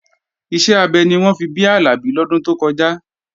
Iṣẹ́ abẹ ni wọ́n fi bí Àlàbí lọ́dún tó kọjá